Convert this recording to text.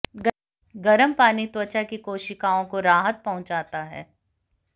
गर्म पानी त्वचा की कोशिकाओं को राहत पहुंचाता है